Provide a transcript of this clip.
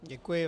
Děkuji.